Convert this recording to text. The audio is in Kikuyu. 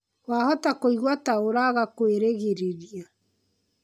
Wahota kũigua ta ũraga kwĩrĩgĩrĩria.